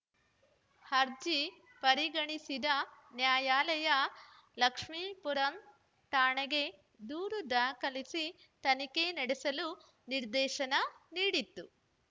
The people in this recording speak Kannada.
ಅರ್ಜಿ ಪರಿಗಣಿಸಿದ ನ್ಯಾಯಾಲಯ ಲಕ್ಷ್ಮೀಪುರಂ ಠಾಣೆಗೆ ದೂರು ದಾಖಲಿಸಿ ತನಿಖೆ ನಡೆಸಲು ನಿರ್ದೇಶನ ನೀಡಿತ್ತು